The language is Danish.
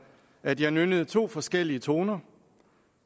at jeg nynnede to forskellige toner